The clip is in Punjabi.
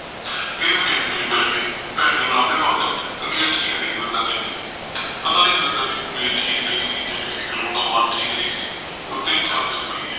ਵੀਰੇ ਫੇਰ ਪੀਣ ਬੈਠ ਗਏ ਭੈਣ ਨੇ ਉਲਾਭੇ ਵਾਂਗ ਆਖਿਆ ਤਬੀਅਤ ਠੀਕ ਨਹੀਂ ਦਵਿੰਦਰ ਨੇ ਆਖਿਆ ਪਤਾ ਨਹੀਂ ਦਵਿੰਦਰ ਦੀ ਤਬੀਅਤ ਠੀਕ ਨਹੀਂ ਸੀ ਜਾ ਕਿਸੇ ਗਲੋਂ ਉਸਦਾ ਮਨ ਠੀਕ ਨਹੀਂ ਸੀ ਤਿੰਨ ਚਾਰ ਪੈਗ ਪੀ ਗਿਆ